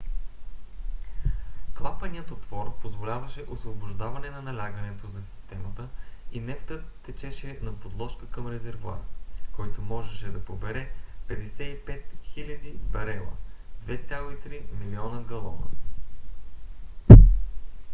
клапанният отвор позволяваше освобождаване на налягането за системата и нефтът течеше на подложка към резервоар който може да побере 55 000 барела 2,3 милиона галона